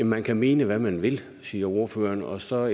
man kan mene hvad man vil siger ordføreren og så er